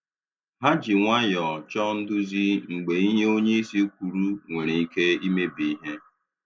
Ha ji nwayọọ chọọ nduzi mgbe ihe onyeisi kwuru nwere ike imebi ihe.